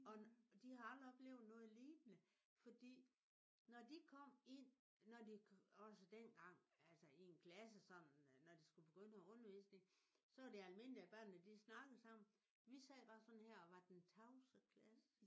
Og de har aldrig oplevet noget lignende fordi når de kom ind når de også dengang altså i en klasse sådan når de skulle begynde at have undervisning så er det almindeligt at børnene de snakker sammen. Vi sad bare sådan her og var den tavse klasse